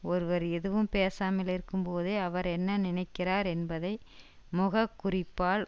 ஒருவர் எதுவும் பேசாமலிருக்கும் போதே அவர் என்ன நினைக்கிறார் என்பதை முகக்குறிப்பால்